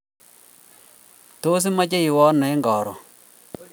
Tos, imache iwe ano koron?